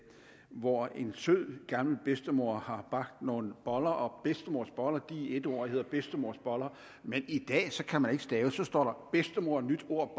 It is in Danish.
hvor en sød gammel bedstemor har bagt nogle boller og bedstemors boller er i ét ord og hedder bedstemorboller men i dag kan man ikke stave så der står bedstemor nyt ord